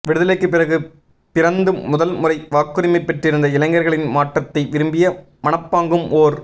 விடுதலைக்குப் பிறகு பிறந்து முதல்முறை வாக்குரிமை பெற்றிருந்த இளைஞர்களின் மாற்றத்தை விரும்பிய மனப்பாங்கும் ஓர்